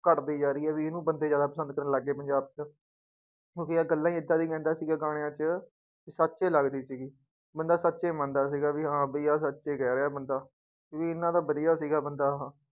ਘੱਟਦੀ ਜਾ ਰਹੀ ਹੈ ਵੀ ਇਹਨੂੰ ਬੰਦੇ ਜ਼ਿਆਦਾ ਪਸੰਦ ਕਰਨ ਲੱਗ ਗਏ ਪੰਜਾਬ ਚ ਕਿਉਂਕਿ ਯਾਰ ਗੱਲਾਂ ਹੀ ਏਦਾਂ ਦੀ ਕਹਿੰਦਾ ਸੀਗਾ ਗਾਣਿਆਂ ਚ ਕਿ ਸੱਚ ਲੱਗਦੀ ਸੀਗੀ, ਬੰਦਾ ਸੱਚ ਹੀ ਮੰਨਦਾ ਸੀਗਾ ਕਿ ਹਾਂ ਵੀ ਸੱਚ ਹੀ ਕਹਿ ਰਿਹਾ ਬੰਦਾ, ਵੀ ਇੰਨਾ ਤਾਂ ਵਧੀਆ ਸੀਗਾ ਬੰਦਾ ਉਹ।